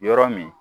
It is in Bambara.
Yɔrɔ min